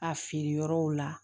A feere yɔrɔw la